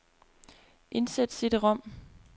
Indsæt cd-rom.